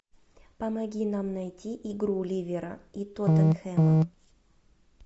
помоги нам найти игру ливера и тоттенхэма